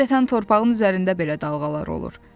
Adətən torpağın üzərində belə dalğalar olur.